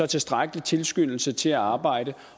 tilstrækkelig tilskyndelse til at arbejde